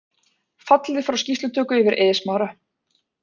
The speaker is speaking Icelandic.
Fallið frá skýrslutöku yfir Eiði Smára